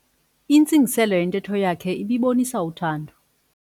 Intsingiselo yentetho yakhe ibibonisa uthando.